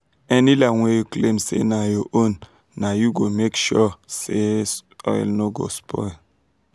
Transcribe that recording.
any land wey you claim say na your own na you go go make sure say soil no go spoil.